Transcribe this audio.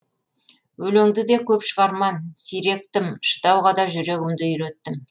өлеңді де көп шығарман сирек тым шыдауға да жүрегімді үйреттім